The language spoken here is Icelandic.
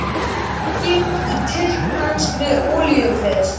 Sprenging í tyrkneskri olíuleiðslu